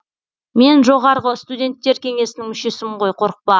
мен жоғарғы студенттер кеңесінің мүшесімін ғой қорықпа